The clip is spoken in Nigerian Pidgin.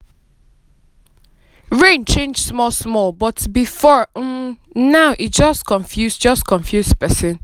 rain change small small before um but now e just confuse just confuse person.